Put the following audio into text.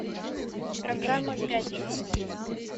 программа пятница